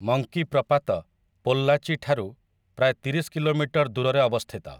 Monkey ପ୍ରପାତ ପୋଲ୍ଲାଚି ଠାରୁ ପ୍ରାୟ ତିରିଶ କିଲୋମିଟର ଦୂରରେ ଅବସ୍ଥିତ ।